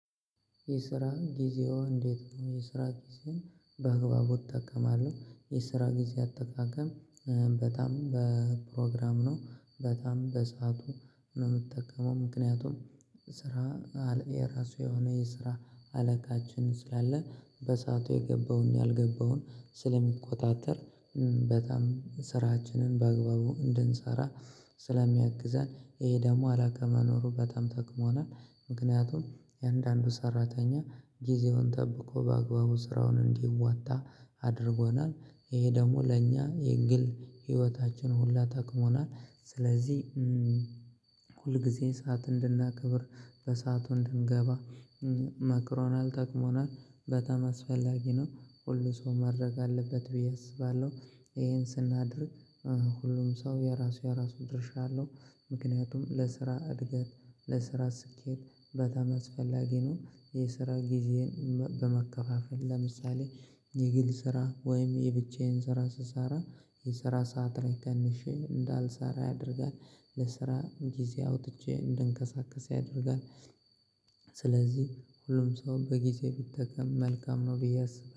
የስራ ጊዜው እንዴት ነው የስራ ጊዜው በአግባቡ እጠቀማለው የስራ ጊዜ አጠቃቀም በጣም በፕሮግራም ነው በጣም በሰአቱ ነው የምትጠቀመው ምክንያቱም ስራ የራሱ የሆነ የስራ አለቃችን ስላለ በሰአቱ የገባውን ያልገባውን ስለሚቆጣጠር በጣም ስራችንን በአግባቡ እንድንሰራ ስለሚያግዘን ይሄ ደግሞ አላከ መኖሩ በጣም ጠቅሞናል። ምክንያቱም የአንዳንዱ ሰራተኛ ጊዜውን ጠብቆ በአግባቡ ስራውን እንዲዋጣ አድርጎናል። ይሄ ደግሞ ለእኛ የግል ህይወታችን ሁላ ጠቅሞናል ስለዚህ ሁልጊዜ ሰዓት እንድናከብር በሰአቱ እንድንገባ መክሮናል ጠቅሞናል በጣም አስፈላጊ ነው ሁሉ ሰው ማድረግ አለበት ብዬ አስባለው ይሄን ስናድርግ ሁሉም ሰው የራሱ የራሱ ድርሻ አለው። ምክንያቱም ለስራ እድገት ለስራ ስኬት በጣም አስፈላጊ ነው። የስራ ጊዜን በመከፋፈል ለምሳሌ የግል ስራ ወይም የብቻዬን ስራ ስሰራ የስራ ሰዓት ላይ ቀንሼ አንዳልሰራ ያደርጋል። ለስራ ጊዜ አውጥቼ እንድንቀሳቀስ ያደርጋል። ስለዚህ ሁሉም ሰው በጊዜ ቢጠቀም መልካም ነው ብዬ አስባለው።